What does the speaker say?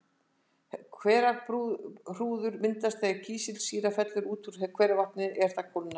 Hverahrúður myndast þegar kísilsýra fellur út úr hveravatni er það kólnar.